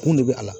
Kun de bɛ a la